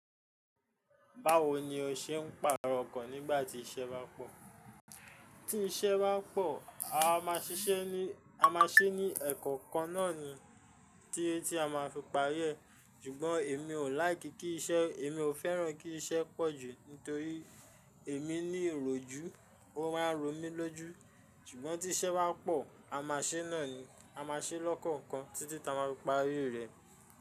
Báwo ni o ṣe ń pàrọ̀ kán nígbà tí iṣẹ́ bá pọ̀? Tí iṣẹ́ bá pọ̀, a máa ṣiṣẹ́ ní, a máa ṣẹ́ ní ẹ̀kọ̀kan náà ni tí ẹ́ tí a máa fi parí rẹ̀. Sùgbọ́n èmi ò like kí iṣẹ́, èmi ò fẹ́ràn kí iṣẹ́ pọ̀ jù nítorí èmi ní ìròjú, ó máa ń ro mí lójú. Sùgbọ́n tí iṣẹ́ bá pọ̀, a máa ṣẹ́ náà ni, a máa ṣẹ́ lọ́kọ̀kan títí tí a máa fi parí rẹ̀.